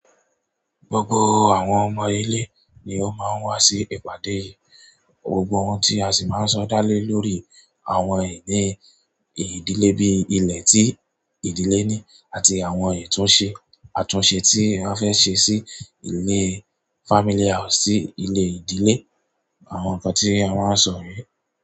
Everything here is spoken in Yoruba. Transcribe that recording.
Gbogbo àwọn ọmọ ilé ni ó máa ń wá sí ìpàdé yìí. Gbogbo ohun tí a sì máa ń sọ dá lé lórí àwọn ìní ìdílé bí ilẹ̀ tí ìdílé ní àti àwọn ìtúnṣe, àtúnṣe tí a fẹ́ ṣe sí ilé fámíly house, ilé ìdílé, àwọn nǹkan tí a máa ń sọ niyen.